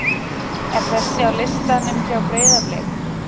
er þessi á listanum hjá Breiðablik?